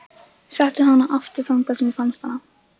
Settu hana aftur þangað sem þú fannst hana.